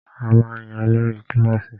A máa ń yan olórí kílàsì.